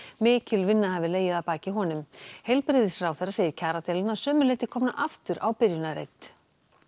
mikil vinna hafi legið að baki honum heilbrigðisráðherra segir kjaradeiluna að sumu leyti komna aftur á byrjunarreit